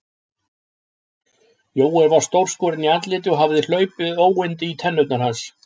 Jón var stórskorinn í andliti og hafði hlaupið óyndi í tennur hans.